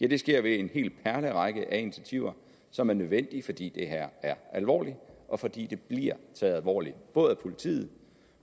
det sker ved en hel perlerække af initiativer som er nødvendige fordi det her er alvorligt og fordi det bliver taget alvorligt af både politiet